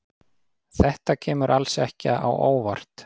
Þetta kemur alls ekki á óvart.